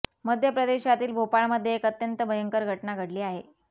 मध्य प्रदेशातील भोपाळमध्ये एक अत्यंत भयंकर घटना घडली आहे